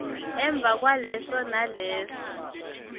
emva kwaleso naleso